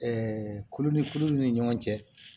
kulo ni kuluw ni ɲɔgɔn cɛ